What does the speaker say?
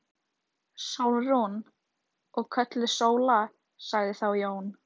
Sólrún. og kölluð Sóla, sagði þá Jón.